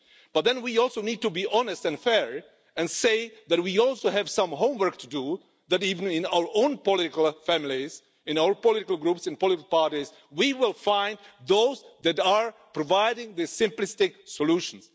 But then we also need to be honest and fair and say that we also have some homework to do, that even in our own political families, in our political groups, in political parties, we will find those that are providing these simplistic solutions.